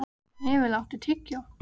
Hnefill, áttu tyggjó?